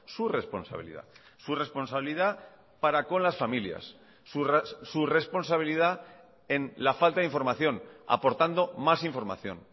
su responsabilidad su responsabilidad para con las familias su responsabilidad en la falta de información aportando más información